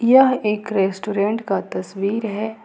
यह एक रेस्टोरेंट का तस्वीर है।